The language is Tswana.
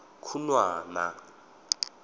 khunwana